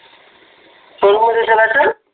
कोण कोणत्या चालायचं?